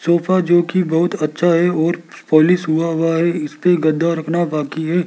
Sofa जो कि बहुत अच्छा है और पॉलिश हुआ हुआ है इस पे गद्दा रखना बाकी है।